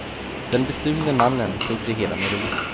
Den bestulne mannen tog det hela med ro.